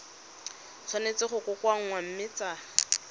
tshwanetse go kokoanngwa mme tsa